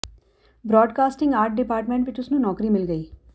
broadcasting art department ਵਿਚ ਉਸ ਨੂੰ ਨੌਕਰੀ ਮਿਲ ਗਈ